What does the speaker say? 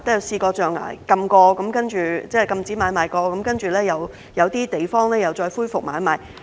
雖然象牙買賣曾被禁止，但經過那麼多年，有些地方又再恢復買賣。